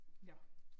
Nåh